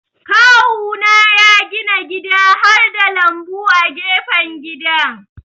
Kawuna ya gina gida harda lambu a gefen gidan.